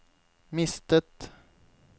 mistet